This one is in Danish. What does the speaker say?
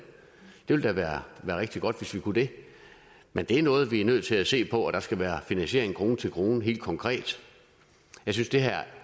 ville da være rigtig godt hvis vi kunne det men det er noget vi er nødt til at se på og der skal være finansiering krone til krone helt konkret jeg synes det her